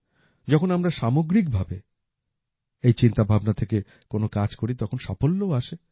যখন আমরা সামগ্রিক ভাবে এই চিন্তাভাবনা থেকে কোন কাজ করি তখন সাফল্যও আসে